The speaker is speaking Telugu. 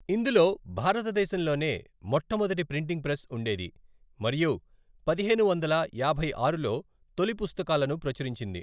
ఇందులో భారతదేశంలోనే మొట్టమొదటి ప్రింటింగ్ ప్రెస్ ఉండేది మరియు పదిహేను వందల యాభై ఆరులో తొలి పుస్తకాలను ప్రచురించింది.